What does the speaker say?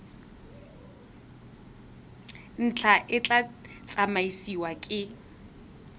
ntlha e tla tsamaisiwa ke